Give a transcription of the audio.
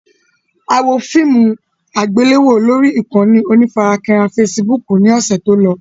A wo fíìmù àgbéléwò lórí ìkànnì onífarakínra Facebook ni ọ̀sẹ̀ tó lọ